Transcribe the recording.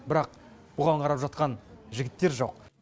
бірақ оған қарап жатқан жігіттер жоқ